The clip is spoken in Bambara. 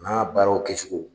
N'a baaraw kɛcogo